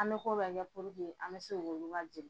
An be ko bɛɛ kɛ an be se k'olu ka jeli